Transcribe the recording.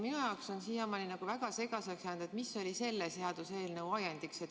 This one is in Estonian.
Minu jaoks on siiamaani väga segaseks jäänud, mis oli selle seaduseelnõu ajend.